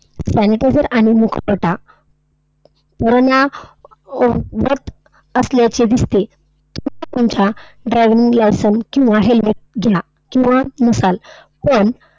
Sanitizer आणि मुखवटा परवाना परवानाकृत असल्याचे दिसते. तुम्ही तुमच्या driving license किंवा helmet च्या घ्या किंवा नसाल पण,